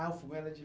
Ah, o fogão era de